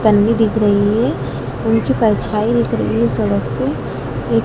पन्नी दिख रही है उनकी परछाई दिख रही है सड़क पे ए--